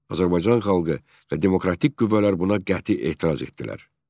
Azərbaycan xalqı və demokratik qüvvələr buna qəti etiraz etdilər.